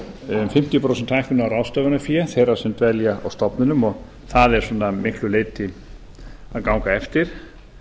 um fimmtíu prósent hækkun á ráðstöfunarfé þeirra sem dvelja á stofnunum og það er að miklu leyti að ganga eftir